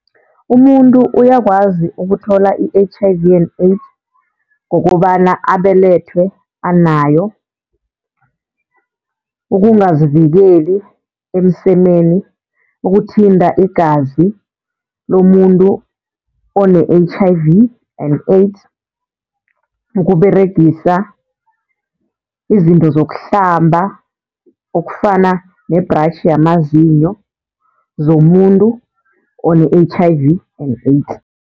Umuntu uyakwazi ukuthola i-H_I_V and AIDS ngokobana abelethwe anayo. Ukungazivikeli emsemeni, ukuthinta igazi lomuntu one-H_I_V and AIDS, ukUberegisa izinto zokuhlamba okufana ne-brush yamazinyo zomuntu one-H_I_V and AIDS.